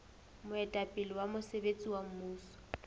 moetapele wa mosebetsi wa mmuso